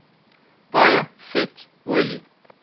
baie vet olie